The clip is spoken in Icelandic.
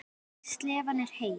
Slefan er heit.